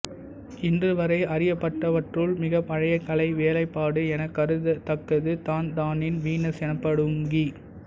இன்றுவரை அறியப்பட்டவற்றுள் மிகப் பழைய கலை வேலைப்பாடு எனக் கருதத் தக்கது தான்தானின் வீனஸ் எனப்படும் கி